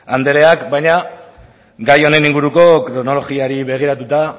andreak baina gai honen inguruko kronologiari begiratuta